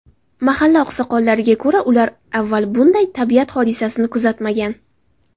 Mahalla oqsoqollariga ko‘ra, ular avval bunday tabiat hodisasini kuzatmagan.